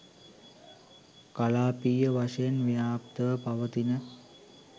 කලාපීය වශයෙන් ව්‍යාප්තව පවතින